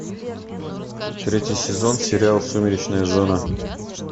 третий сезон сериал сумеречная зона